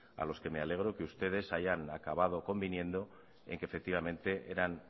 a los que me alegro que ustedes hayan acabado conviniendo en que efectivamente eran